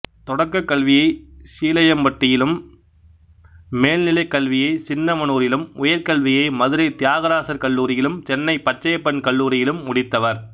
தொடக்கக்கல்வியைச் சீலையம்பட்டியிலும் மேல்நிலைக்கல்வியைச் சின்னமனூரிலும் உயர்கல்வியை மதுரை தியாகராசர் கல்லூரியிலும் சென்னைப் பச்சையப்பன் கல்லூரியிலும் முடித்தவர்